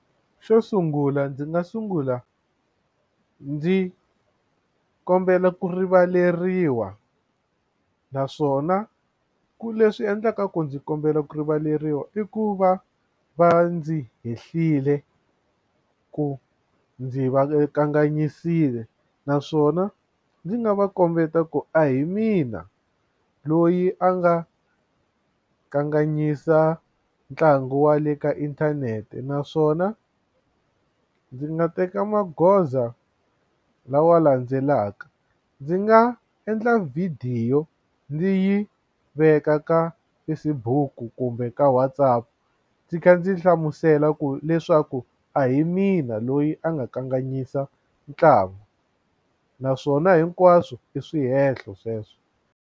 Xo sungula ndzi nga sungula ndzi kombela ku rivaleriwa naswona ku leswi endlaka ku ndzi kombela ku rivaleriwa i ku va va ndzi hehlile ku ndzi va kanganyisile naswona ndzi nga va kombeta ku a hi mina loyi a nga kanganyisa ntlangu wa le ka inthanete naswona a ndzi nga teka magoza lawa landzelaka ndzi nga endla vhidiyo ndzi yi veka ka Facebook kumbe ka wona WhatsApp ndzi kha ndzi hlamusela ku leswaku a hi mina loyi a nga kanganyisa ntlangu naswona hinkwaswo i swihehlo sweswo.